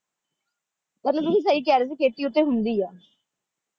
ਮਤਲਬ ਤੁਸੀਂ ਸਹੀ ਕਹਿ ਰਹੇ ਸੀ ਖੇਤੀ ਉੱਥੇ ਹੁੰਦੀ ਹੈ